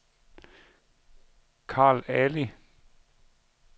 Carl Ali